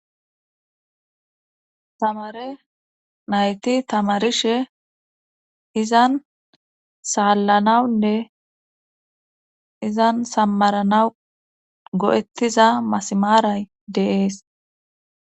tamare nayti tamarishe izan saallanawunne izan sammaranawu go7ettiza masimaaray de'es